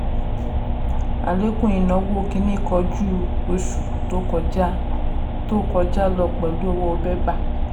àlékún ìnáwó kínní kò ju oṣù tó kọjá tó kọjá lọ pẹ̀lú owó bébà.